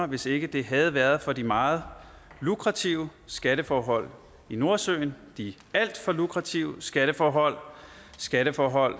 hvis ikke det havde været for de meget lukrative skatteforhold i nordsøen de alt for lukrative skatteforhold skatteforhold